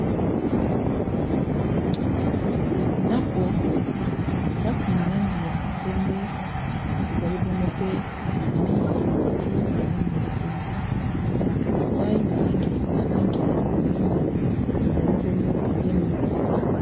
Ndako na langi ya pembe ezali bongo mpe na mire ya cloture na langi ya pembe na portail na langi ya moyindo ezali bongo pembeni ya balabala.